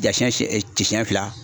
Ja sɛn sɛn fila